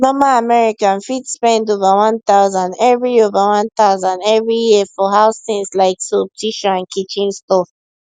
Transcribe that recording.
normal american fit spend over 1000 every over 1000 every year for house things like soap tissue and kitchen stuff